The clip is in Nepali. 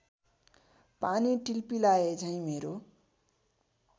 पानी टिलपिलाएझैँ मेरो